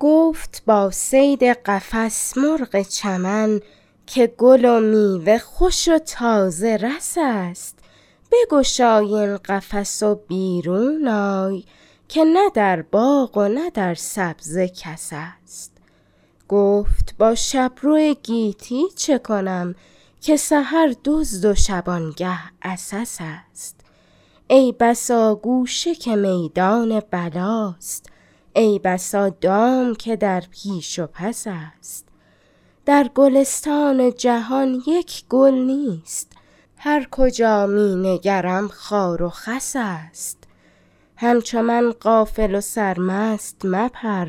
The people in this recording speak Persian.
گفت با صید قفس مرغ چمن که گل و میوه خوش و تازه رس است بگشای این قفس و بیرون آی که نه در باغ و نه در سبزه کس است گفت با شبرو گیتی چکنم که سحر دزد و شبانگه عسس است ای بسا گوشه که میدان بلاست ای بسا دام که در پیش و پس است در گلستان جهان یک گل نیست هر کجا مینگرم خار و خس است همچو من غافل و سرمست مپر